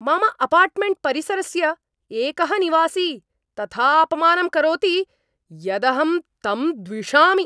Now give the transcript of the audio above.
मम अपार्टमेण्ट्परिसरस्य एकः निवासी तथा अपमानं करोति यदहं तं द्विषामि।